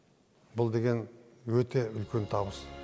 бұл деген өте үлкен табыс